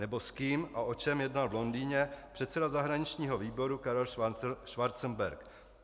Nebo s kým a o čem jednal v Londýně předseda zahraničního výboru Karel Schwarzenberg?